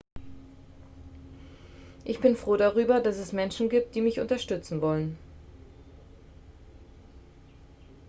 ich bin froh darüber dass es menschen gibt die mich unterstützen wollen